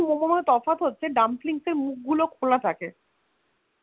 Dumpling and Momor মধ্যে তফাৎ তা হলো Dumpling এর মুখ গুলো খোলা থাকে